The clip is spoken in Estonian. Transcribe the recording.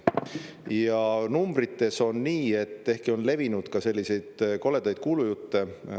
Ja numbrites on nii, ehkki on levinud ka selliseid koledaid kuulujutte.